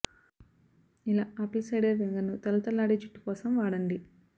ఇలా apple cider vinegar ని తళతళ లాడే జుట్టు కోసం వాడండి